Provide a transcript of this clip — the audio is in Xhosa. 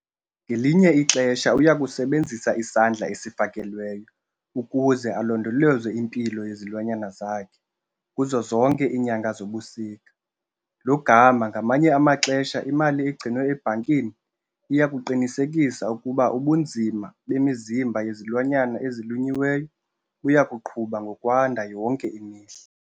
Ngelinye ixesha uya kusebenzisa isandla esifakelweyo ukuze alondoloze impilo yezilwanyana zakhe kuzo zonke iinyanga zobusika, lo gama ngamanye amaxesha imali egcinwe ebhankini iya kuqinisekisa ukuba ubunzima bemizimba yezilwanyana ezilunyuliweyo buya kuqhuba ngokwanda yonke imihla.